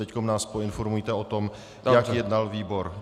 Teď nás poinformujte o tom, jak jednal výbor.